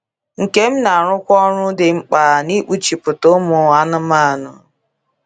Nkem na - arụkwa ọrụ dị mkpa n’ịkpụchita ụmụ anumanu.